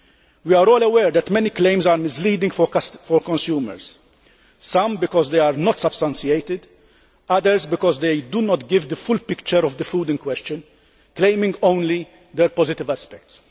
We are all aware that many claims are misleading for consumers some because they are not substantiated, others because they do not give the full picture of the food in question, claiming only their positive aspects.